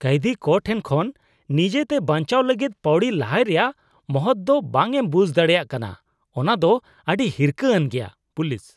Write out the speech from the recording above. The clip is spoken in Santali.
ᱠᱟᱹᱭᱫᱷᱤ ᱠᱚ ᱴᱷᱮᱱ ᱠᱷᱚᱱ ᱱᱤᱡᱮᱛᱮ ᱵᱟᱹᱧᱪᱟᱣ ᱞᱟᱹᱜᱤᱫ ᱯᱟᱣᱲᱤ ᱞᱟᱦᱟᱭ ᱨᱮᱭᱟᱜ ᱢᱚᱦᱚᱛ ᱫᱚ ᱵᱟᱝ ᱮᱢ ᱵᱩᱡ ᱫᱟᱲᱮᱭᱟᱜ ᱠᱟᱱᱟ ᱚᱱᱟ ᱫᱚ ᱟᱹᱰᱤ ᱦᱤᱨᱠᱷᱟᱹ ᱟᱱ ᱜᱮᱭᱟ ᱾ (ᱯᱩᱞᱤᱥ)